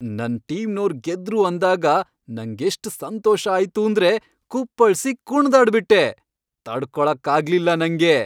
ನನ್ ಟೀಮ್ನೋರ್ ಗೆದ್ರು ಅಂದಾಗ ನಂಗೆಷ್ಟ್ ಸಂತೋಷ ಆಯ್ತೂಂದ್ರೆ ಕುಪ್ಪಳ್ಸಿ ಕುಣ್ದಾಡ್ಬಿಟ್ಟೆ, ತಡ್ಕೊಳಕ್ಕಾಗ್ಲಿಲ್ಲ ನಂಗೆ.